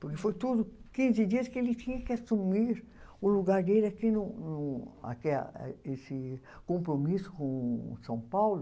Porque foi tudo quinze dias que ele tinha que assumir o lugar dele aqui no no aqui a, esse compromisso com São Paulo.